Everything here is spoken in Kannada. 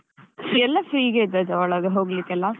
ಎಲ್ಲ free ಗೆ ಇದ್ದದ್ದ ಒಳಗ್ ಹೋಗ್ಲಿಕ್ಕೆಲ್ಲಾ?